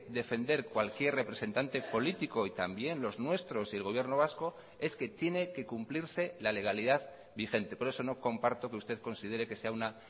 defender cualquier representante político y también los nuestros y el gobierno vasco es que tiene que cumplirse la legalidad vigente por eso no comparto que usted considere que sea una